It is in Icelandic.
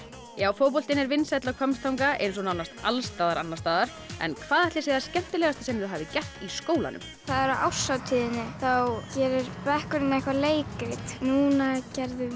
fótboltinn er vinsæll á Hvammstanga eins og nánast alls staðar annars staðar en hvað ætli sé það skemmtilegasta sem þau hafa gert í skólanum það er á árshátíðinni þá gerir bekkurinn eitthvað leikrit núna gerðum